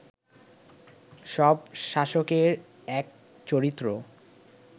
সব শাসকের এক চরিত্র